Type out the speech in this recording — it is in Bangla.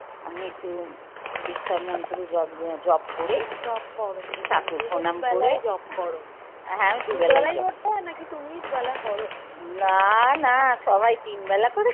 আমি একটু দীক্ষা মন্ত্র যপ যপ করে ঠাকুর প্রনাম করে হ্যাঁ আমি দুবেলাই করতাম না না সবাই তিনবেলা